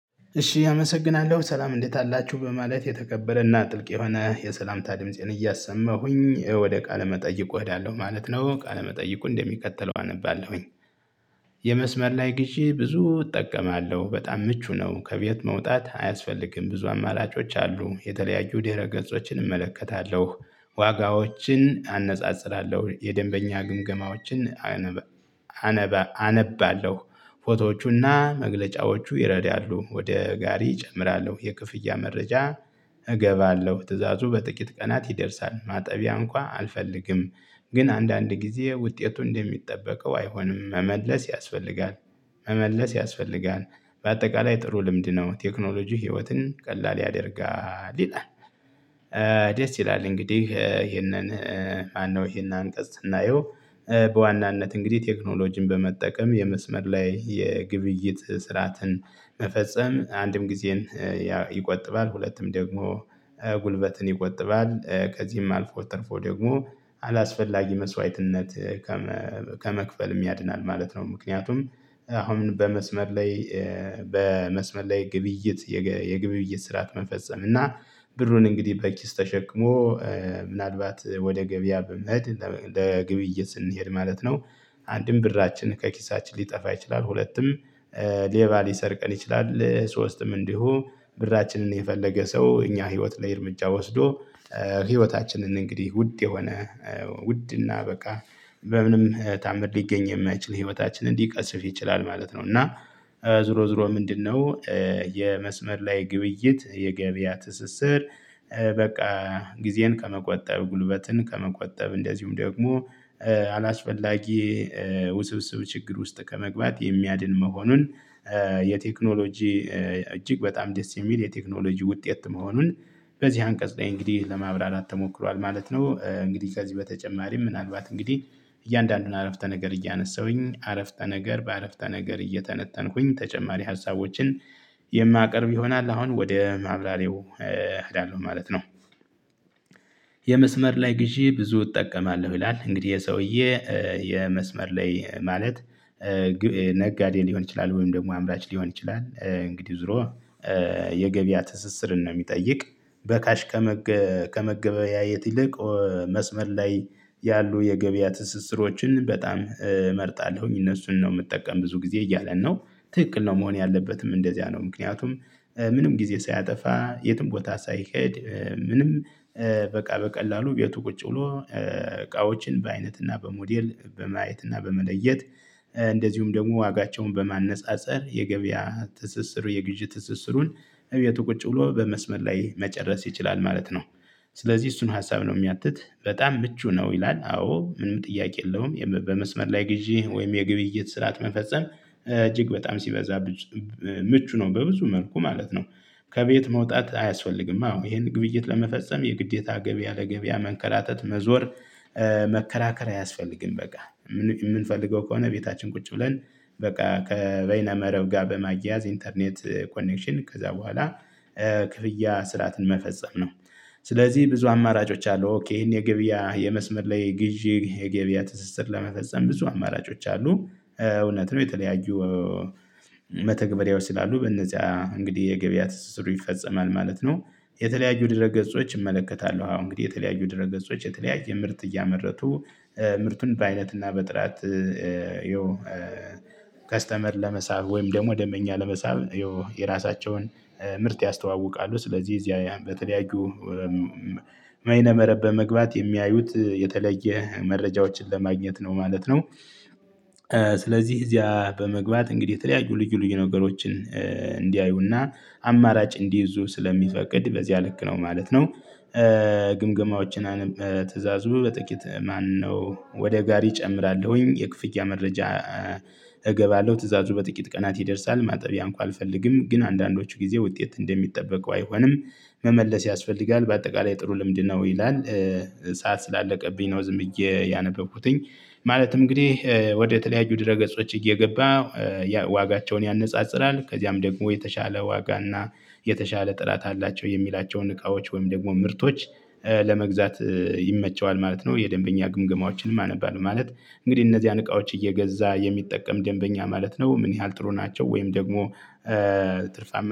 እሺ አመሰግናለሁ ሰላም እንዴት አላችሁ በማለት የተከበረና ጥልቅ የሆነ የሰላምታ ድምፄን እያሰማሁኝ ወደ ቃለ መጠይቁ እሄዳለሁ ማለት ነው ቃለ መጠይቁን እንደሚከተለው አነባለሁኝ። የመስመር ላይ ግዢ ብዙ እጠቀማለሁ በጣም ምቹ ነው ከቤት መውጣት አያስፈልግም ብዙ አማራጮች አሉ የተለያዩ ደረ ገጾችን እመለከታለሁ ዋጋዎችን አነጻጽራለሁ የደንበኛ ግምገማዎችን አነባ አነባለሁ ፎቶዎቹና መግለጫዎቹ ይረዳሉ ወደ ጋሪ እጨምራለሁ የክፍያ መረጃ እገባለሁ ትእዛዙ በጥቂት ቀናት ይደርሳል ማጠቢያ እንኳን አልፈልግም ግን አንዳንድ ጊዜ ውጤቱ እንደሚጠበቀው አይሆንም መመለስ ያስፈልጋል መመለስ ያስፈልጋል በአጠቃላይ ጥሩ ልምድ ነው። ቴክኖሎጂ ህይወትን ቀላል ያደርጋል ይላል። ደስ ይላል እንግዲህ ይሄንን ማነው? ይሄን አንቀጽ ስናየው በዋናነት እንግዲህ ቴክኖሎጂን በመጠቀም የመስመር ላይ የግብይት ስርዓትን መፈጸም አንድም ጊዜን ይቆጥባል ሁለቱም ደግሞ ጉልበትን ይቆጥባል ከዚህም አልፎ ትርፎ ደግሞ አላስፈላጊ መስዋዕትነት ከመክፈልም ያድናል ማለት ነው። ምክንያቱም አሁን በመስመር ላይ በመስመር ላይ ግብይት የግብይት ስርዓት መፈጸም እና ብሩን እንግዲህ በኪስ ተሸክሞ ምናልባት ወደ ገበያ በመኸድ ለግብይት ስንሄድ ማለት ነው። አንድም ብራችንን ከኪሳችን ሊጠፋ ይችላል ሁለትም ሌባ ሊሰርቀን ይችላል ሶስትም እንዲሁ ብራችንን የፈለገ ሰው እኛ ህይወት ላይ እርምጃ ወስዶ ህይወታችንን እንግዲህ ውድ የሆነ ውድ እና በቃ በምንም ታምር ሊገኝ የማይችል ህይወታችን ሊቀስፍ ይችላል ማለት ነው። እና ዞሮ ዞሮ ምንድነው? የመስመር ላይ ግብይት የገበያ ትስስር በቃ ጊዜን ከመቆጠብ ጉልበትን ከመቆጠብ እንደዚሁም ደግሞ አላስፈላጊ ውስብስብ ችግር ውስጥ ከመግባት የሚያድን መሆኑን። የቴክኖሎጂ እጅግ በጣም ደስ የሚል የቴክኖሎጂ ውጤት መሆኑን በዚህ አንቀጽ ላይ እንግዲህ ለማብራራት ተሞክሯል ማለት ነው። እንግዲህ ከዚህ በተጨማሪ ምናልባት እንግዲህ እያንዳንዱን አረፍተ ነገር እያነሳሁኝ አረፍተ ነገር በአረፍተ ነገር እየተነተንኩኝ ተጨማሪ ሀሳቦችን የማቀርብ ይሆናል አሁን ወደ ማብራሪያው እሄዳለሁ ማለት ነው። የመስመር ላይ ግዢ ብዙ እጠቀማለሁ ይላል። እንግዲህ ይሄ ሰውዬ የመስመር ላይ ማለት ነጋዴ ሊሆን ይችላል። ወይም ደግሞ አምራች ሊሆን ይችላል። እንግዲህ ዞሮ የገበያ ትስስርን ነው የሚጠይቅ በካሽ ከመገበያየት ይልቅ መስመር ላይ ያሉ የገበያ ትስስሮችን በጣም እመርጣለሁኝ እነሱን ነው የምጠቀም ብዙ ጊዜ እያለ ነው። ትክክል ነው መሆን ያለበትም እንደዚያ ነው። ምክንያቱም ምንም ጊዜ ሳያጠፋ የትም ቦታ ሳይሄድ ምንም በቃ በቀላሉ ቤቱ ቁጭ ብሎ እቃዎችን በአይነት እና በሞዴል በማየት እና በመለየት እንደዚሁም ደግሞ ዋጋቸውን በማነፃፀር የገበያ ትስስሩ የግዢ ትስስሩን እቤቱ ቁጭ ብሎ በመስመር ላይ መጨረስ ይችላል ማለት ነው። ስለዚህ እሱን ሀሳብ ነው የሚያትት በጣም ምቹ ነው ይላል። አዎ ምንም ጥያቄ የለውም በመስመር ላይ ግዢ ወይም የግብይት ስርዓት መፈጸም እጅግ በጣም ሲበዛ ምቹ ነው በብዙ መልኩ ማለት ነው። ከቤት መውጣት አያስፈልግም አዎ ይሄን ግብይት ለመፈጸም የግዴታ ገቢያ ለገቢያ መንከራተት መዞር መከራከር አያስፈልግም። በቃ የምንፈልገው ከሆነ ቤታችን ቁጭ ብለን በቃ ከበይና መረብ ጋር በማግያዝ ኢንተርኔት ኮኔክሽን ከዛ በኋላ ክፍያ ስርዓትን መፈጸም ነው። ስለዚህ ብዙ አማራጮች አሉ ኦኬ ይሄን የገበያ የመስመር ላይ ግዢ የገበያ ትስስር ለመፈጸም ብዙ አማራጮች አሉ እውነት ነው የተለያዩ መተግበሪያዎች ስላሉ በነዚያ እንግዲህ የገበያ ትስስሩ ይፈጸማል ማለት ነው። የተለያዩ ድረ ገጾች እመለከታለሁ አዎ እንግዲህ የተለያዩ ድረ ገጾች የተለያዩ ምርት እያመረቱ ምርቱን በአይነትና በጥራት ያው ከስተመር ለመሳብ ወይም ደግሞ ደምበኛ ለመሳብ ያው የራሳቸውን ምርት ያስተዋውቃሉ። ስለዚህ እዚያ በተለያዩ መይነ መረብ በመግባት የሚያዩት የተለየ መረጃዎችን ለማግኘት ነው ማለት ነው። ስለዚህ እዚያ በመግባት እንግዲህ የተለያዩ ልዩ ልዩ ነገሮችን እንዲያዩና አማራጭ እንዲይዙ ስለሚፈቅድ በዚያ ልክ ነው ማለት ነው። ግምገማዎችን ትእዛዙ በጥቂት ማነው ወደ ጋሪ እጨምራለሁኝ የክፍያ መረጃ እገባለሁ ትእዛዙ በጥቂት ቀናት ይደርሳል ማጠቢያ እንኳን አልፈልግም ግን አንዳንዶቹ ጊዜ ውጤት እንደሚጠበቀው አይሆንም። መመለስ ያስፈልጋል በአጠቃላይ ጥሩ ልምድ ነው። ይላል ሰዓት ስላለቀብኝ ነው እዬ ያነበብኩትኝ። ማለትም እንግዲህ ወደ ተለያዩ ድረ ገጾች እየገባ ዋጋቸውን ያነጻጽራል ከዚያም ደግሞ የተሻለ ዋጋ እና የተሻለ ጥላት አላቸው የሚላቸውን እቃዎች ወይም ደግሞ ምርቶች ለመግዛት ይመቸዋል ማለት ነው። የደንበኛ ግምገማዎችንም አነባለሁ ማለት እንግዲህ እነዚህን እቃዎች እየገዛ የሚጠቀም ደንበኛ ማለት ነው። ምን ያህል ጥሩ ናቸው ወይም ደግሞ ትርፋማ